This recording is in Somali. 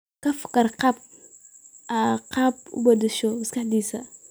Ka fakar qaab aad ku beddesho maskaxdiisa.